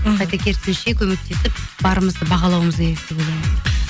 қайта керісінше көмектесіп барымызды бағалауымыз керек деп ойлаймын